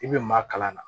I bɛ maa kalan na